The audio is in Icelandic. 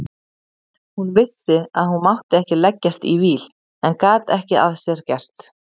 Hún vissi að hún mátti ekki leggjast í víl en gat ekki að sér gert.